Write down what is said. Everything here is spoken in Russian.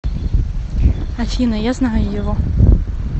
афина я знаю его